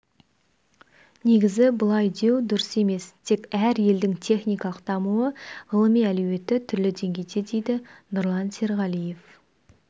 негізі бұлай деу дұрыс емес тек әр елдің техникалық дамуы ғылыми әлеуеті түрлі деңгейде дейді нұрлан серғалиев